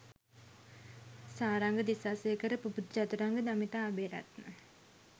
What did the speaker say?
Saranga Disasekara Pubudu Chathuranga Damitha Abeyratne